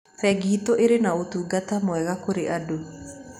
Bengi itũ ĩrĩ na ũtungata mwega kũrĩ andũ.